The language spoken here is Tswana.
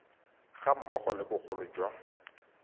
ga mmogo le bogolo jwa